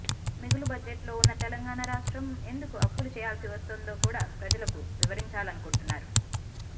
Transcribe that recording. మిగులు బడ్జెట్ లో ఉన్న తెలంగాణ రాష్ట్రం ఎందుకు అప్పులు చేయాల్సివస్తుందో కూడా ప్రజలకు వివరించాలనుకుంటున్నారు